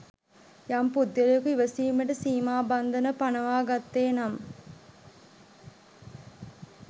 යම් පුද්ගලයකු ඉවසීමට සීමාබන්ධන පනවා ගත්තේ නම්